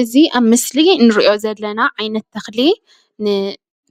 እዚ ኣብ ምስሊ እንሪኦ ዘለና ዓይነት ተኽሊ ን